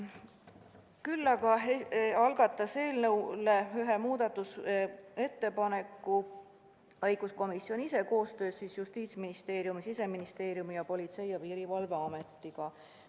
Küll algatas ühe muudatusettepaneku õiguskomisjon ise koostöös Justiitsministeeriumi, Siseministeeriumi ning Politsei- ja Piirivalveametiga.